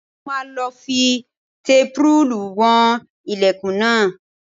Tolú máa lọ fi tẹpurúùlù wọn ilẹ̀kùn náà